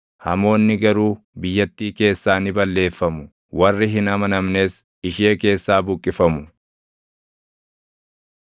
hamoonni garuu biyyattii keessaa ni balleeffamu; warri hin amanamnes ishee keessaa buqqifamu.